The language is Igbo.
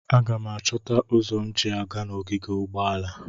Aga m achọta ụzọ m ji aga n'ogige ụgbọala.